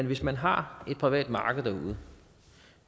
hvis man har et privat marked derude